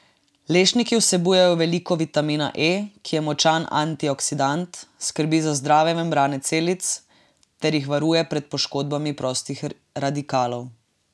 Lešniki vsebujejo veliko vitamina E, ki je močan antioksidant, skrbi za zdrave membrane celic ter jih varuje pred poškodbami prostih radikalov.